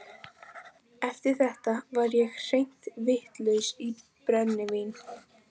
Eftir þetta var ég hreint vitlaus í brennivín.